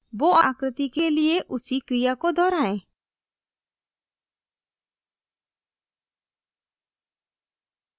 bow bow आकृति के लिए उसी क्रिया को दोहराएं